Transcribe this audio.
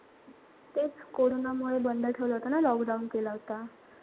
तेच कोरोनामुळे बंद ठेवलं होत ना lockdown केला होता.